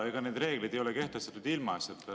Need reeglid ei ole kehtestatud ilmaasjata.